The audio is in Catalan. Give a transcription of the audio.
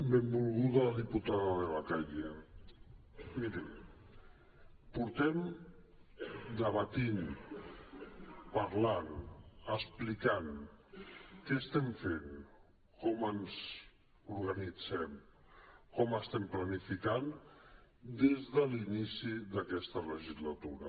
benvolguda diputada de la calle miri portem debatent parlant explicant què estem fent com ens organitzem com estem planificant des de l’inici d’aquesta legislatura